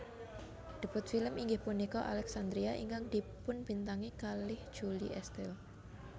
Debut film inggih punika Alexandria ingkang dipunbintangi kalih Julie Estelle